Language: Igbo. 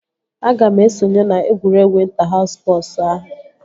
Aga m esonye na egwuregwu ịnta haus spọsu ahụ